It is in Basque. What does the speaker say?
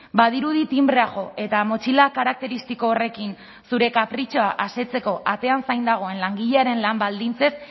badirudi tinbrea jo eta motxila karakteristiko horrekin zure kapritxoa asetzeko atean zain dagoen langilearen lan baldintzez